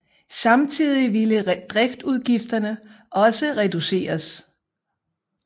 Samtidig ville driftsudgifterne også kunne reduceres